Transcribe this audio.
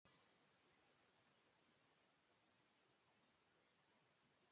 Maður rekst aldrei á gamla skólafélaga, búandi svona í útlöndum.